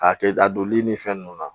K'a kɛ a donli ni fɛn nunnu na